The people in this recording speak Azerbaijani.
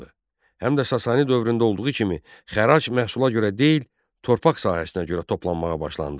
Həm də Sasani dövründə olduğu kimi xərac məhsula görə deyil, torpaq sahəsinə görə toplanmağa başlandı.